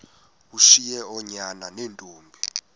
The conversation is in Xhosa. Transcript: ushiye oonyana neentombi